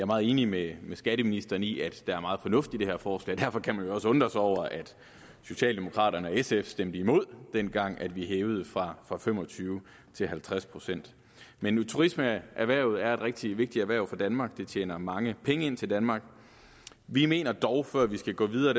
meget enig med skatteministeren i at der er meget fornuft i det her forslag derfor kan man jo også undre sig over at socialdemokraterne og sf stemte imod det dengang vi hævede fra fra fem og tyve til halvtreds procent men turismeerhvervet er et rigtig vigtigt erhverv for danmark det tjener mange penge ind til danmark vi mener dog at før vi skal gå videre